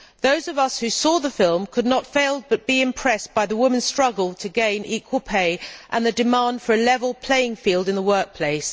Those of us who saw the film could not fail but be impressed by the women's struggle to gain equal pay and the demand for a level playing field in the workplace.